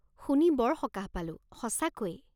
শুনি বৰ সকাহ পালো, সঁচাকৈ।